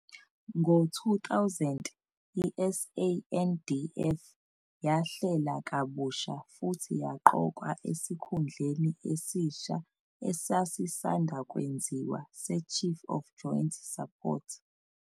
Ngo-2000, i-SANDF yahlela kabusha futhi yaqokwa esikhundleni esisha esasanda kwenziwa seChief of Joint Support.